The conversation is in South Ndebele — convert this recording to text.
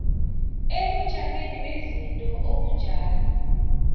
ebujameni bezinto obunjalo